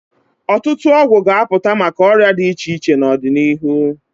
Ọtụtụ ọgwụ ga-apụta maka ọrịa dị iche iche n'ọdịnihu.